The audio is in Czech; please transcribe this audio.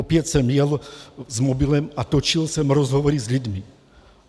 Opět jsem jel s mobilem a točil jsem rozhovory s lidmi.